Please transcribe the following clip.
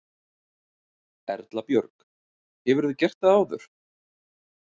Erla Björg: Hefurðu gert það áður?